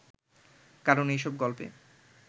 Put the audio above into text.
কারণ এইসব গল্পে